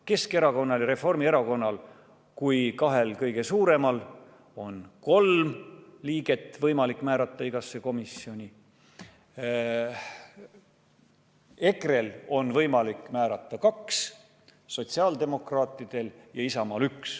Keskerakonnal ja Reformierakonnal kui kahel kõige suuremal on kolm liiget võimalik määrata igasse komisjoni, EKRE-l on võimalik määrata kaks, sotsiaaldemokraatidel ja Isamaal üks.